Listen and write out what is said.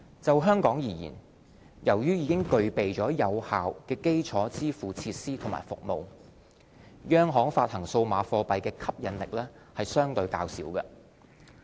就香港而言，由於已具備有效的基礎支付設施和服務，央行發行數碼貨幣的吸引力相對較小。